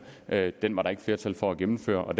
valget den var der ikke flertal for at gennemføre og